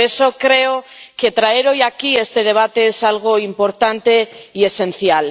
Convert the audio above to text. Por eso, creo que traer hoy aquí este debate es algo importante y esencial.